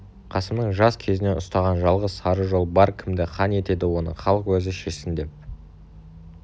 қасымның жас кезінен ұстаған жалғыз сара жолы бар кімді хан етеді оны халық өзі шешсін деп